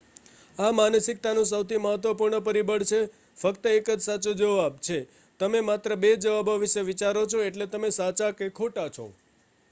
આ માનસિકતાનું સૌથી મહત્વપૂર્ણ પરિબળ છે ફક્ત એક જ સાચો જવાબ છે તમે માત્ર બે જવાબો વિશે વિચારો છો એટલે કે સાચા કે ખોટા છે